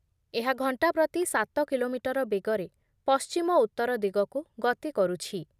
ଏହା ଘଣ୍ଟା ପ୍ରତି ସାତ କିଲୋମିଟର ବେଗରେ ପଶ୍ଚିମରୁ ଉତ୍ତର ଦିଗକୁ ଗତି କରୁଛି ।